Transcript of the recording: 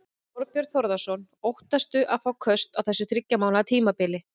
Þorbjörn Þórðarson: Óttastu að fá köst á þessu þriggja mánaða tímabili?